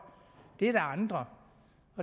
det er nogle andre